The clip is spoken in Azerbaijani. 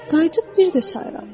qayıdıb bir də sayıram.